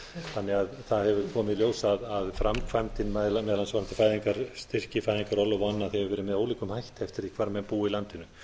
þannig að það hefur komið í ljós að framkvæmdin meðal annars varðandi fæðingarstyrki fæðingarorlof og annað hefur verið með ólíkum hætti eftir því hvar menn búa í landinu